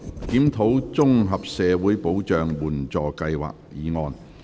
"檢討綜合社會保障援助計劃"議案。